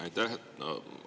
Aitäh!